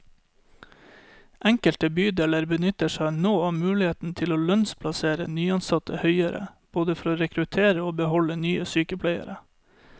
Enkelte bydeler benytter seg nå av muligheten til å lønnsplassere nyansatte høyere, både for å rekruttere og beholde nye sykepleiere.